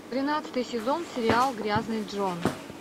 тринадцатый сезон сериал грязный джон